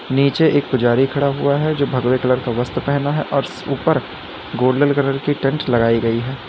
नीचे एक पुजारी खड़ा हुआ है जो भगवे कलर का वस्त्र पहना है और ऊपर गोल्डन कलर की टेंट लगाई गई है।